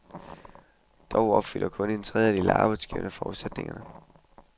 Dog opfylder kun en tredjedel af arbejdsgiverne forudsætningerne.